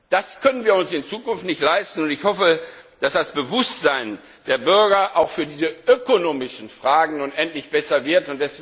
Das können wir uns in Zukunft nicht leisten, und ich hoffe, dass das Bewusstsein der Bürger auch für diese ökonomischen Fragen nun endlich besser wird.